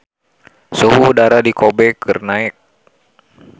Suhu udara di Kobe keur naek